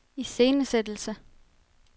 iscenesættelse